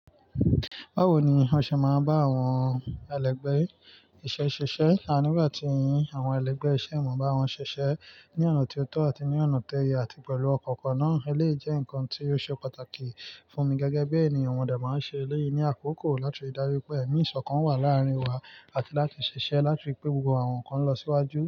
Báwo ni o ṣe máa ń bá àwọn ẹlẹgbẹ́ iṣẹ́ ṣiṣẹ́? Àní, nígbà tí ì yín, àwọn ẹlẹgbẹ́ iṣẹ́, ìwọ̀n bá wọn ṣiṣẹ́ ní ọ̀nà tó tọ́ àti ní ọ̀nà toyẹ, àti pẹ̀lú ọkọ kan náà, eléyii jẹ́ nǹkan tí ó ṣe pàtàkì fún mi gẹ́gẹ́ bí ènìyàn. Mo de máa ń ṣe eléèyí ní àkókò láti rí dájú pé ẹ̀mí ìṣọ̀kan wà láàrin wa àti láti ṣiṣẹ́ láti ri pé gbogbo àwọn nǹkan lọ síwájú.